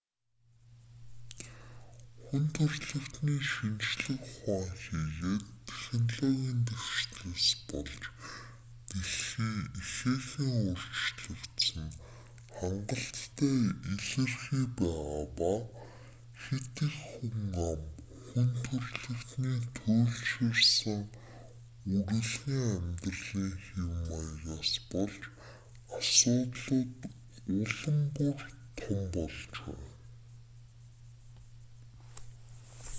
хүн төрөлхтөний шинжлэх ухаан хийгээд технологийн дэвшлээс болж дэлхий ихээхэн өөрчлөгдсөн нь хангалттай илэрхий байгаа ба хэт их хүн ам хүн төрөлхтөний туйлширсан үрэлгэн амьдралын хэв маягаас болж асуудлууд улам бүр том болж байна